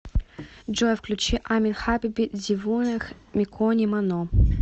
джой включи амин хабиби дивонех микони мано